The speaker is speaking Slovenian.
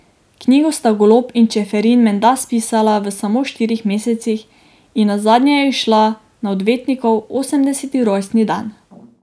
Knjigo sta Golob in Čeferin menda spisala v samo štirih mesecih in nazadnje je izšla na odvetnikov osemdeseti rojstni dan.